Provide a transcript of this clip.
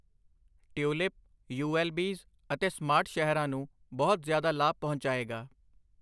Tulip, ਯੂਐੱਲਬੀਜ਼ਅਤੇ smart ਸ਼ਹਿਰਾਂ ਨੂੰ ਬਹੁਤ ਜ਼ਿਆਦਾ ਲਾਭ ਪਹੁੰਚਾਏਗਾ।